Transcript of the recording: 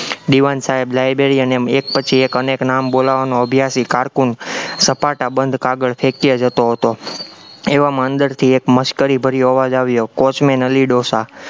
દીવાન સાહેબ library અને એક પછી એક અનેક નામ અભ્યાસી cocoon સપાટાબંધ કાગળ ફેંક્યે જતો હતો, એવામાં અંદરથી એક મશ્કરી ભર્યો અવાજ આવ્યો, વોચમેન અલી ડોસા